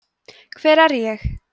hver er ég